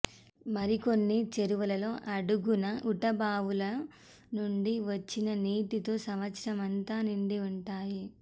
మరికొన్ని చెరువుల అడుగున ఊటబావుల నుండి వచ్చిన నీటితో సంవత్సరం అంతా నిండి ఉంటాయి